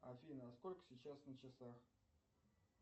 афина а сколько сейчас на часах